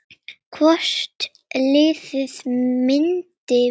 Hvort liðið myndi vinna?